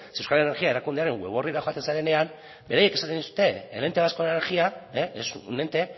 zeren euskal energia erakundearen web orrira joaten zarenean beraiek esaten dute el ente vasco de la energía es un ente